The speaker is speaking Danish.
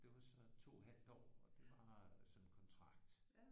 Det var så 2 halvt år og det var sådan kontrakt